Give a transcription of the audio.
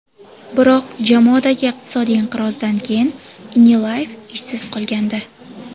Biroq jamoadagi iqtisodiy inqirozdan keyin Inileyev ishsiz qolgandi.